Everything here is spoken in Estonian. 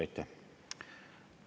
Aitäh!